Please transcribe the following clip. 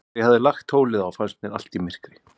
Þegar ég hafði lagt tólið á, fannst mér allt í myrkri.